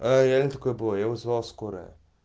аа реально такое было я вызвал скорую